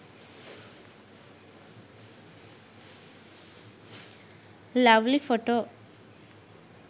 lovely photo